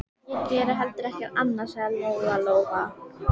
Við lítum björtum augum til framtíðarinnar.